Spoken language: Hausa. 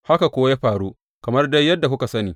Haka kuwa ya faru, kamar dai yadda kuka sani.